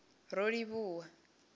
rolivhuwan